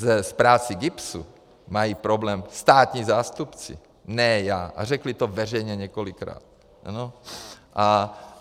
S prací GIBSu mají problém státní zástupci, ne já, a řekli to veřejně několikrát.